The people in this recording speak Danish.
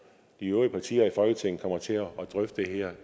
de øvrige partier i folketinget kommer til at drøfte det her